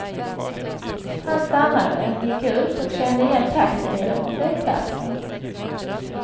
Han stannade, gick ut och kände igen taxibilen från flygplatsen.